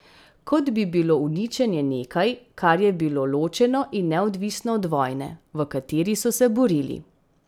Kot bi bilo uničenje nekaj, kar je bilo ločeno in neodvisno od vojne, v kateri so se borili.